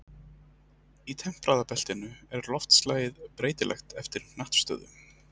Í tempraða beltinu er loftslagið breytilegt eftir hnattstöðu.